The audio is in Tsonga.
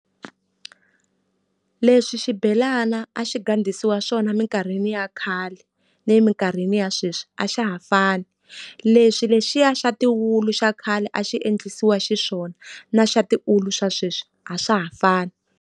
Leswi xibhelana a xi gandlisiwa swona emikarhini ya khale ni emikarhini ya sweswi a xa ha fani. Leswi lexiya xa tiulu xa khale a xi endlisiwa xiswona, na xa tiulu swa sweswi a swa ha fani.